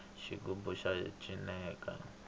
xigubu xa cineka